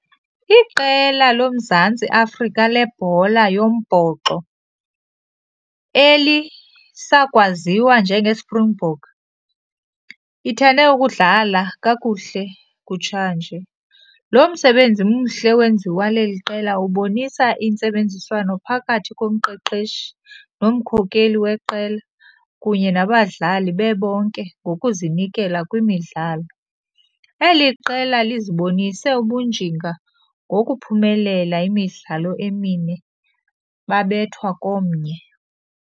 Iqela loMzantsi Afrika lebhola yombhoxo elisakwaziwa njengeSpringbok ithande ukudlala kakuhle kutshanje. Lo msebenzi mhle wenziwa leli qela ubonisa intsebenziswano phakathi komqeqeshi nomkhokeli weqela kunye nabadlali bebonke ngokuzinikela kwimidlalo. Eli qela lizibonise ubunjinga ngokuphumelela imidlalo emine babethwa komnye.